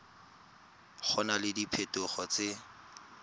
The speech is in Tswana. go na le diphetogo tse